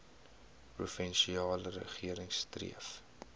provinsiale regering streef